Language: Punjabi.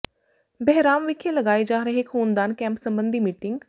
ਬਹਿਰਾਮ ਵਿਖੇ ਲਗਾਏ ਜਾ ਰਹੇ ਖੂਨਦਾਨ ਕੈਂਪ ਸਬੰਧੀ ਮੀਟਿੰਗ